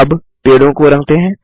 अब पेड़ों को रंगते हैं